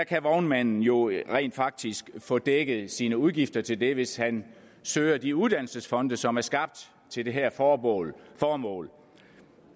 kan vognmanden jo rent faktisk få dækket sine udgifter til det hvis han søger de uddannelsesfonde som er skabt til det her formål formål